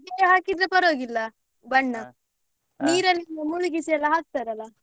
ಹಾಗಿದ್ರೆ ಪರವಾಗಿಲ್ಲ ಮುಳುಗಿಸಿ ಎಲ್ಲ ಹಾಕ್ತಾರಲ್ಲ.